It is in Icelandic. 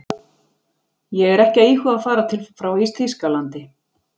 Ég er ekki að íhuga að fara frá Þýskalandi.